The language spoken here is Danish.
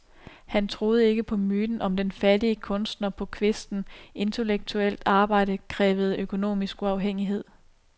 Han troede ikke på myten om den fattige kunstner på kvisten, intellektuelt arbejde krævede økonomisk uafhængighed.